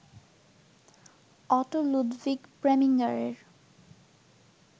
auto Ludwig প্রেমিঙারের